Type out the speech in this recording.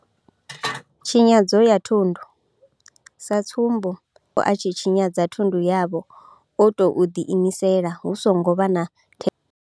Tshinyadzo ya thundu, sa tsumbo musi mutambudzi wavho a tshi tshinyadza thundu yavho o tou ḓiimisela hu songo vha na thendelo yavho.